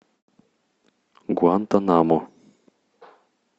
гуантанамо